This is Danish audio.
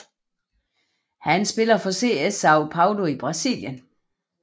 Han spiller for SC São Paulo i Brasilien